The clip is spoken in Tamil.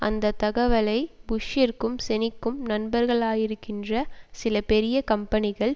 அந்த தகவலை புஷ்ஷிற்கும் செனிக்கும் நண்பர்களாகயிருக்கின்ற சில பெரிய கம்பெனிகள்